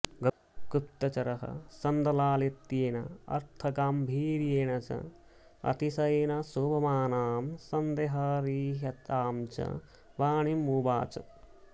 गुप्तचरः शन्दलालित्येन अर्थगाम्भीर्येण च अतिशयेन शोभमानां सन्देहरहितां च वाणीमुवाच